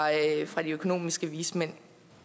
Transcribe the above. fra de økonomiske vismænd